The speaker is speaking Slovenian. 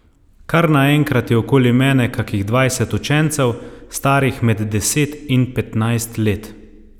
Kar naenkrat je okoli mene kakih dvajset učencev, starih med deset in petnajst let.